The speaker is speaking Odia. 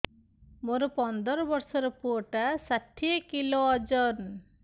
ମୋର ପନ୍ଦର ଵର୍ଷର ପୁଅ ଟା ଷାଠିଏ କିଲୋ ଅଜନ